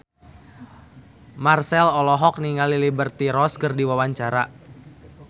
Marchell olohok ningali Liberty Ross keur diwawancara